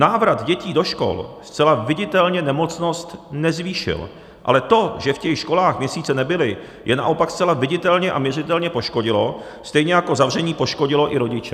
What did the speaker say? Návrat dětí do škol zcela viditelně nemocnost nezvýšil, ale to, že v těch školách měsíce nebyly, je naopak zcela viditelně a měřitelně poškodilo, stejně jako zavření poškodilo i rodiče.